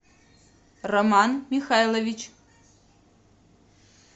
роман михайлович